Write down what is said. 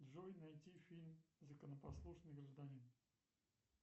джой найти фильм законопослушный гражданин